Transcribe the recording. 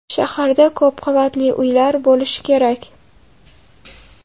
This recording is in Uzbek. Shaharda ko‘p qavatli uylar bo‘lishi kerak.